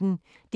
DR P1